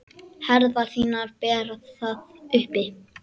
Herðar þínar bera það uppi.